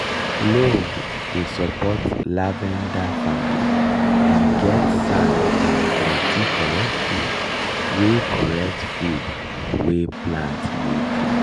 loam dey support lavender farming e get sand and plenty correct food wey correct food wey plant need.